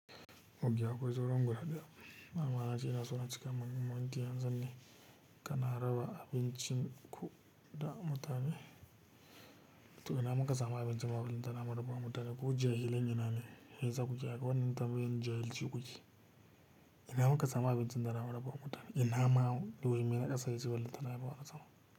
Mogya akwai tsoron guda ɗaya. Manaja yana so na cika manin motar yanzu ne, kana raba abincin ku da mutane. To ina muka sa ma abincin mu ma balantana mu raba wa mutane ko jahilai ne na ne? Shiyasa ku ke akwai wani tambayi in jahilci kuke. Ina muka sa ma abincin tana maraba wa mutane. Ina ma yau jiya ina ƙasa yanzu filin tana maraba wa mutane.